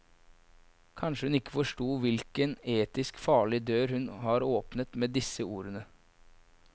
Kanskje hun ikke forsto hvilken etisk farlig dør hun har åpnet med disse ordene.